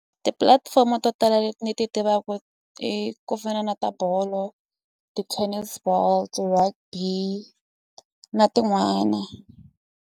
Tipulatifomo to tala leti ni ti tivaku i ku fana na ta bolo ti-tennis ball ti-rugby na tin'wana.